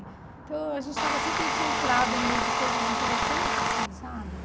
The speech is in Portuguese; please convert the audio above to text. Então a gente estava sempre infiltrado no meio de coisas interessantes, assim, sabe?